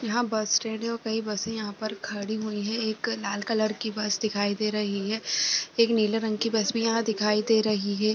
यह bus stand है और कई बसे यहाँ पर खड़ी हुईं हैं एक लाल कलर की बस दिखाई दे रही है एक नीले रंग की बस भी यहाँ दिखाई दे रही है।